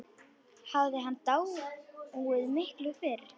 Hafði hann dáið miklu fyrr?